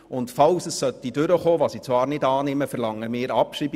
Sollte es durchkommen, was ich zwar nicht annehme, verlangen wir die Abschreibung.